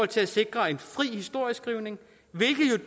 til at sikre en fri historieskrivning hvilket